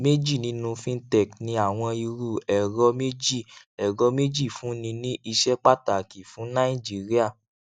méjì nínú fintech ní àwọn irú ẹrọ méjì ẹrọ méjì fúnni ní iṣẹ pàtàkì fún nàìjíríà